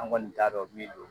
An kɔni t'a dɔn min don